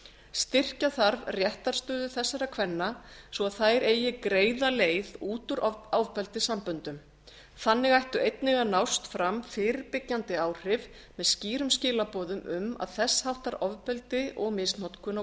styrkja þarf réttarstöðu þessara kvenna svo að þær eigi greiða leið út úr ofbeldissamböndum þannig ættu einnig að nást fram fyrirbyggjandi áhrif með skýrum skilaboðum um að þess háttar ofbeldi og misnotkun á